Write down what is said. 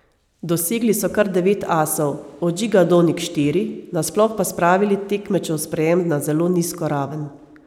Dosegli so kar devet asov, od Žiga Donik štiri, nasploh pa spravili tekmečev sprejem na zelo nizko raven.